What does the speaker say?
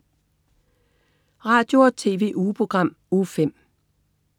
Radio- og TV-ugeprogram Uge 5